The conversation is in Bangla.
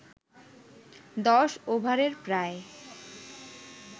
১০ ওভারে প্রায়